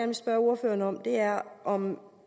vil spørge ordføreren om er om